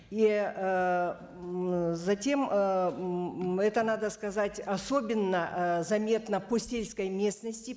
и ыыы затем это надо сказать особенно ы заметно по сельской местности